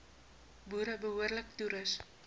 boere behoorlik toerus